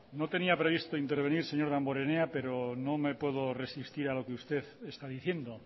no tenía previsto intervenir señor damborenea pero no me puedo resistir a lo que usted está diciendo